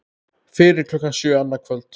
Fyrir klukkan sjö annað kvöld